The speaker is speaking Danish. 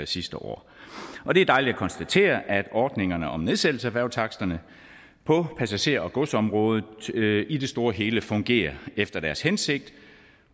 sidste år og det er dejligt at konstatere at ordningerne om nedsættelse af færgetaksterne på passager og godsområdet i det store og hele fungerer efter deres hensigt